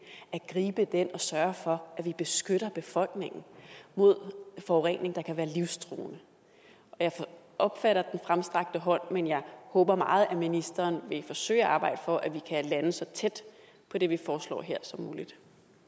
at gribe den og sørge for at vi beskytter befolkningen mod forurening der kan være livstruende jeg opfatter fremstrakt hånd men jeg håber meget at ministeren vil forsøge at arbejde for at vi kan lande så tæt på det vi foreslår her som muligt